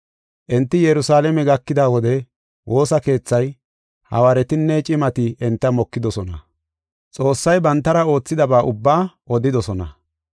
Enti Yerusalaame gakida wode woosa keethay, Hawaaretinne cimati enta mokidosona. Xoossay bantara oothidaba ubba odidosona.